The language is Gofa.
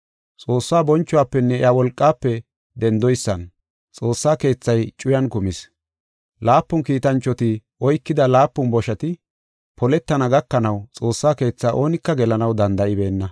Xoossaa bonchuwafenne iya wolqaafe dendoysan Xoossa Keethay cuyan kumis. Laapun kiitanchoti oykida laapun boshati poletana gakanaw Xoossa Keetha oonika gelanaw danda7ibeenna.